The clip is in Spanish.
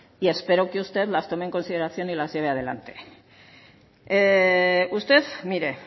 y espero que usted las tome en consideración y las lleve adelante usted mire